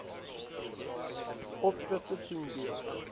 opskrifte sien deel